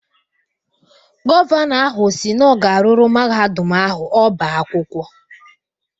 Gọvanọ ahụ si na ọ ga-arụrụ Mahadum ahụ ọbá akwụkwọ.